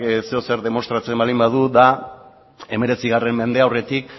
zer edo zer demostratzen baldin badu da hemeretzi mende aurretik